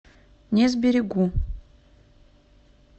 не сберегу